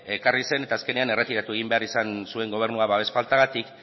ekarri zen eta azkenean erretiratu egin behar izan zuen gobernuak babes faltagatik